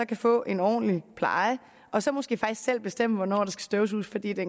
kan få en ordentlig pleje og så måske faktisk selv bestemme hvornår der støvsuges fordi der